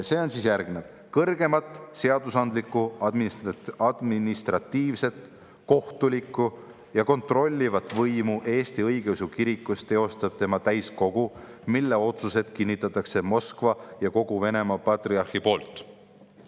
See on järgmine: "Kõrgeimat seadusandlikku, administratiivset, kohtulikku ja kontrollivat võimu Eesti õigeusu kirikus teostab tema täiskogu, mille otsused kinnitatakse Moskva ja kogu Venemaa patriarhi poolt.